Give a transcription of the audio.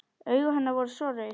Augu hennar voru svo rauð.